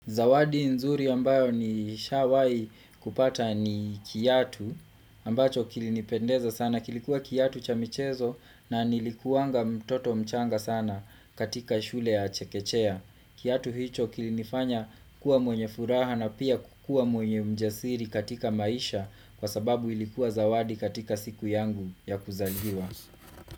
Zawadi nzuri ambayo nishawai kupata ni kiatu ambacho kilinipendeza sana kilikuwa kiatu cha michezo na nilikuwanga mtoto mchanga sana katika shule ya chekechea kiatu hicho kilinifanya kuwa mwenye furaha na pia kukua mwenye mjasiri katika maisha kwa sababu ilikuwa zawadi katika siku yangu ya kuzaliwa.